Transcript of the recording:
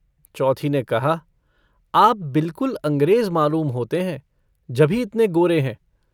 चौथी ने कहा - आप बिलकुल अँगरेज़ मालूम होते हैं, जभी इतने गोरे हैं।